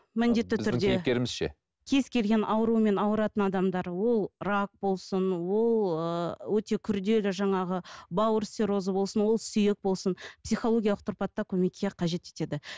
кез келген аурумен ауыратын адамдар ол рак болсын ол ыыы өте күрделі жаңағы бауыр циррозы болсын ол сүйек болсын психологиялық тұрпатта көмекке қажет етеді